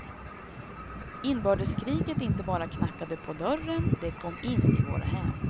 Inbördeskriget inte bara knackade på dörren, det kom in i våra hem.